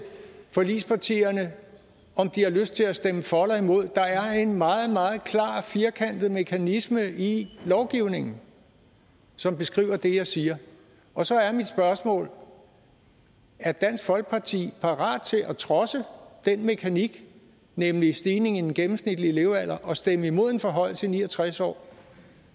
forligspartierne om de har lyst til at stemme for eller imod der er en meget meget klar og firkantet mekanisme i lovgivningen som beskriver det jeg siger og så er mit spørgsmål er dansk folkeparti parat til at trodse den mekanik nemlig stigningen i den gennemsnitlige levealder og stemme imod en forhøjelse til ni og tres år